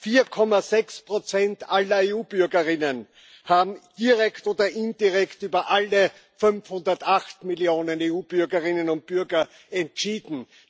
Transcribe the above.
4,6 Prozent aller EU Bürgerinnen und Bürger haben direkt oder indirekt über alle 508 Millionen EU Bürgerinnen und Bürger entschieden.